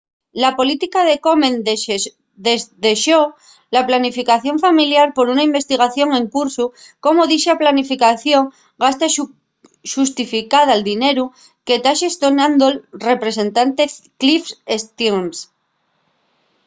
la política de komen desdexó la planificación familiar por una investigación en cursu de cómo dicha planificación gasta y xustifica'l dineru que ta xestionando'l representante cliff stearns